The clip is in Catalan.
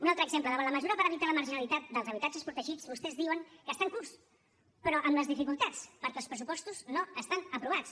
un altre exemple davant la mesura per evitar la marginalitat dels habitatges protegits vostès diuen que està en curs però amb les dificultats perquè els pressupostos no estan aprovats